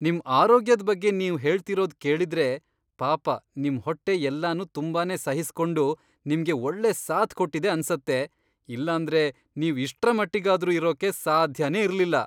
ನಿಮ್ ಆರೋಗ್ಯದ್ ಬಗ್ಗೆ ನೀವ್ ಹೇಳ್ತಿರೋದ್ ಕೇಳಿದ್ರೆ ಪಾಪ ನಿಮ್ ಹೊಟ್ಟೆ ಎಲ್ಲನೂ ತುಂಬಾನೇ ಸಹಿಸ್ಕೊಂಡು ನಿಮ್ಗೆ ಒಳ್ಳೆ ಸಾಥ್ ಕೊಟ್ಟಿದೆ ಅನ್ಸತ್ತೆ, ಇಲ್ಲಾಂದ್ರೆ ನೀವ್ ಇಷ್ಟ್ರಮಟ್ಟಿಗಾದ್ರೂ ಇರೋಕೆ ಸಾಧ್ಯನೇ ಇರ್ಲಿಲ್ಲ!